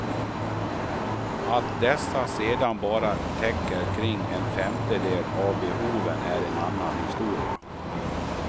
Att dessa sedan bara täcker kring en femtedel av behoven är en annan historia.